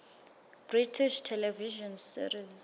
british television series